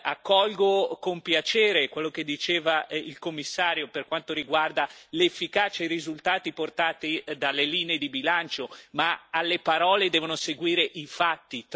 Accolgo con piacere quello che diceva il commissario per quanto riguarda l'efficacia e i risultati portati dalle linee di bilancio, ma alle parole devono seguire i fatti.